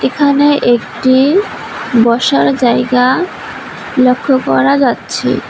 এখানে একটি বসার জায়গা লক্ষ করা যাচ্ছে।